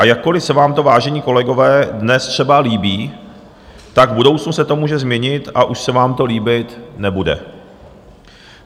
A jakkoli se vám to, vážení kolegové, dnes třeba líbí, tak v budoucnu se to může změnit a už se vám to líbit nebude.